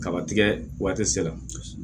Kaba tigɛ waati sera